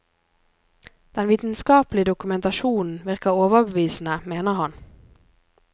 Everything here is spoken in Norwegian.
Den vitenskapelige dokumentasjonen virker overbevisende, mener han.